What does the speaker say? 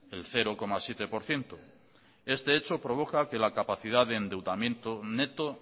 del cero coma siete por ciento este hecho provoca que la capacidad de endeudamiento neto